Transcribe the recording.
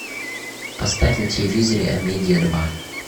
поставь на телевизоре амедиа два